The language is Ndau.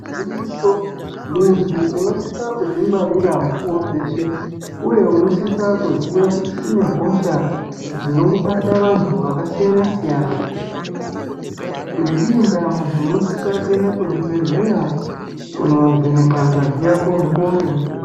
Gwinyiso munthu unosisa kudzingwarira mukuwo weshe uye unosise kuziya kuti kune hosha dzinobata vanthu vakasiyana siyana. Ngeiyi ndaa muntu unosisa kuenda kuzvibhedhleya kunovhenekwa ngazi yako mukuwo ngemukuwo.